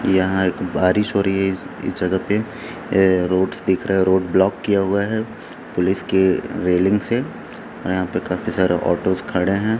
यहाँ एक बारिश हों रही है इस जगह पे अ रोड्स दिख रहे है रोड ब्लॉक किया हुआ है पुलिस के रेलिंग से अ यहाँ पे काफी सारे ऑटोस खड़े हैं।